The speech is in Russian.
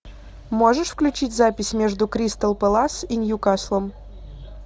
можешь включить запись между кристал пэлас и ньюкаслом